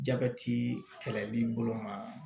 Jabɛti kɛlɛli bolo ma